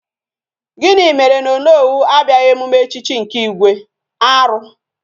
Gini mere na Onowu abiaghi emume echichi nke igwe? Aru!